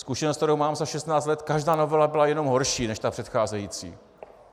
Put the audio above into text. Zkušenost, kterou mám za 16 let, každá novela byla jen horší než ta předcházející.